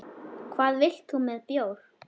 Hvað vilt þú með bjór?